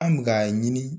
An bɛ k'a ɲini